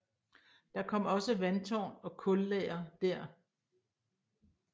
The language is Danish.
Der kom også vandtårn og kullager der